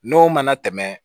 N'o mana tɛmɛ